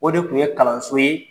O de kun ye kalanso ye